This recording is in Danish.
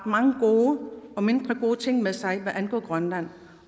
mange gode og mindre gode ting med sig hvad angår grønland